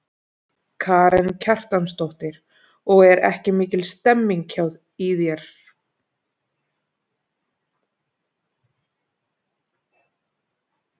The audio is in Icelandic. Karen Kjartansdóttir: Og er ekki mikil stemning í þér?